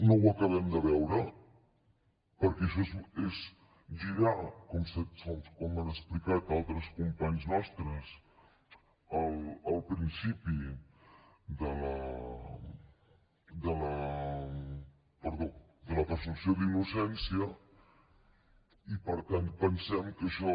no ho acabem de veure perquè això és girar com han explicat altres companys nostres el principi de la presumpció d’innocència i per tant pensem que això